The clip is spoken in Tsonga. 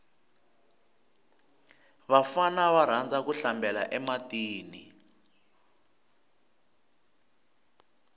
vafana va rhandza ku hlambela e matini